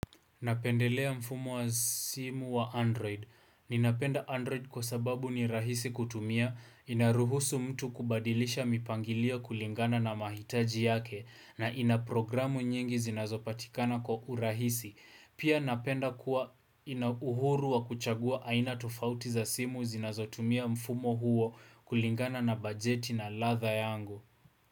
Napendelea mfumo wa simu wa Android. Ninapenda Android kwa sababu ni rahisi kutumia, inaruhusu mtu kubadilisha mipangilio kulingana na mahitaji yake na ina programu nyingi zinazopatikana kwa urahisi. Pia napenda kuwa ina uhuru wa kuchagua aina tufauti za simu zinazotumia mfumo huo kulingana na bajeti na ladha yangu.